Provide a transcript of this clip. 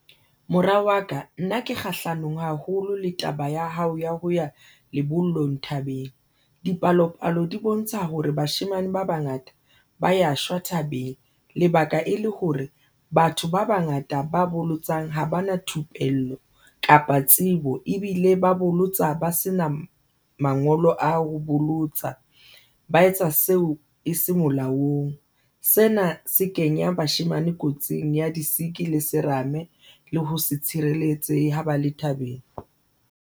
Mora wa ka nna ke kgahlanong haholo le taba ya hao ya ho ya lebollong thabeng. Dipalopalo di bontsha hore bashemane ba bangata ba ya shwa thabeng, lebaka e le hore batho ba bangata ba bolotsang ha ba na thupello kapa tsebo ebile ba bolotsa ba sena mangolo a ho bolotsa ba etsa seo e se molaong. Sena se kenya bashemane kotsing ya di-sick le serame le ho se tshireletsehe ha ba le thabeng.